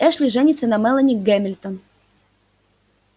эшли женится на мелани гемильтон